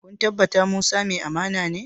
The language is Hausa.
Kun tabbata Musa mai amana ne?